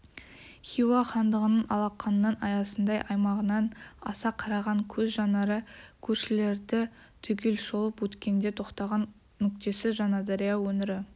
хиуа хандығының алақанның аясындай аймағынан аса қараған көз жанары көршілерді түгел шолып өткенде тоқтаған нүктесі жаңадария өңірі